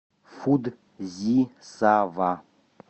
фудзисава